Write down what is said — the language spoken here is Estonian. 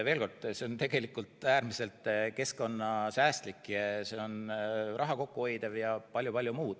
Veel kord, see on tegelikult äärmiselt keskkonnasäästlik, see on raha kokku hoidev.